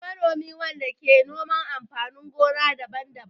Shi manomi wanda ke noman amfanin gona daban-daban.